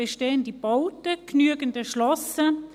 «bestehende Bauten, genügend erschlossen».